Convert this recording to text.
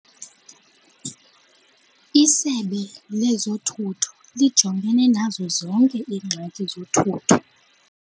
Isebe lezothutho lijongene nazo zonke iingxaki zothutho